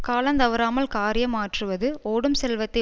கால தவறாமல் காரியம் ஆற்றுவது ஓடும் செல்வத்தை